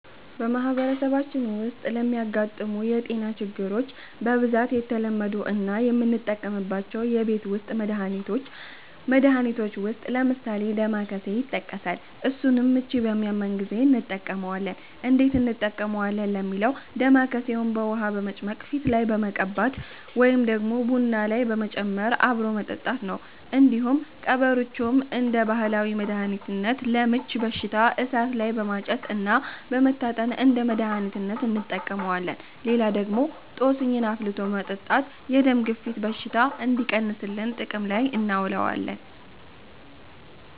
በማህበረሰባችን ዉስጥ ለሚያጋጥሙ የ ጤና ችግሮች በ ብዛት የተለመዱ እና የምንጠቀምባቸው የቤት ዉስት መድሀኒቶች ዉስጥ ለምሳሌ ደማከሴ ይተቀሳል እሱንም ምቺ በሚያመን ጊዜ እንተቀመዋለን እንዴት እንጠቀመዋለን ለሚለው ደማከሴውን በ ዉሀ በመጭመቅ ፊት ላይ መቀባት ወይ ደግሞ ቡና ላይ በመጨመር አብሮ መጠጣት ነው። እንዲሁም ቀበርቾም እንደ ባህላዊ መድሀኒት ለ ምቺ በሽታ እሳት ላይ በማጨስ እና በመታጠን እንደ መድሀኒትነት እንተቀመዋለን። ሌላ ደግሞ ጦስኝን አፍልቶ በመጠታት የ ደም ግፊት በሽታ እንዲቀንስልን ጥቅም ላይ እናውለዋለን።